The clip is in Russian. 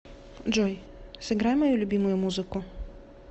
джой сыграй мою любимую музыку